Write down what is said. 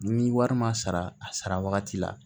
Ni wari ma sara a sara wagati la